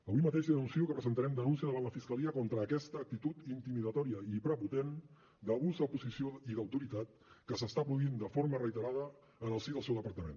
avui mateix li anuncio que presentarem denúncia davant la fiscalia contra aquesta actitud intimidatòria i prepotent d’abús de posició i d’autoritat que s’està produint de forma reiterada en el si del seu departament